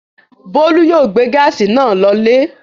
Bólú yóò gbé gáásì náà lọlé.